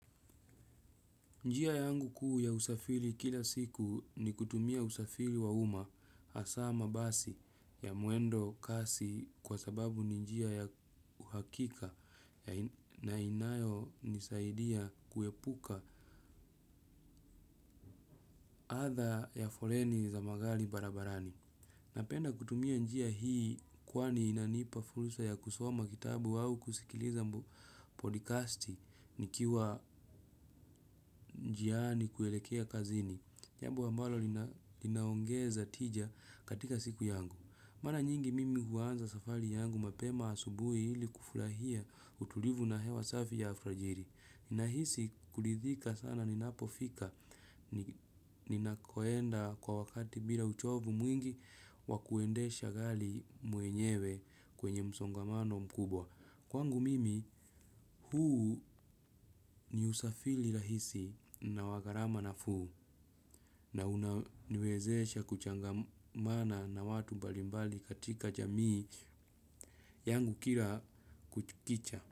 Njia yangu kuu ya usafiri kila siku ni kutumia usafiri wa uma hasa mabasi ya mwendo kasi kwa sababu ni njia ya uhakika na inayo nisaidia kuepuka adha ya foleni za magari barabarani. Napenda kutumia njia hii kwani inanipa fursa ya kusoma kitabu au kusikiliza podikasti nikiwa njiani kuelekea kazini. Jambo ambalo linaongeza tija katika siku yangu. Mara nyingi mimi huanza safari yangu mapema asubuhi ili kufurahia utulivu na hewa safi ya alfajiri. Nahisi kuridhika sana ninapofika ninakoenda kwa wakati bila uchovu mwingi wa kuendesha gari mwenyewe kwenye msongamano mkubwa. Kwangu mimi huu ni usafiri rahisi na wa gharama nafuu na unaniwezesha kuchangamana na watu mbalimbali katika jamii yangu kira kuchukicha.